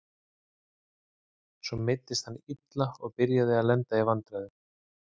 Svo meiddist hann illa og byrjaði að lenda í vandræðum.